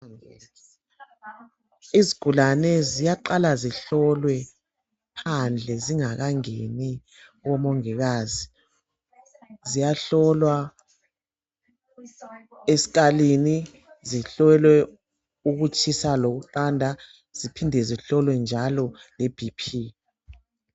Izigulane ziyaqala zihlolwe phandle zingakangeni komongikazi. Ziyahlolwa eskalini, zihlolwe ukutshisa lokuqanda ziphinde zihlolwe njalo leBP.